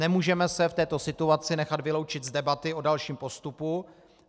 Nemůžeme se v této situaci nechat vyloučit z debaty o dalším postupu.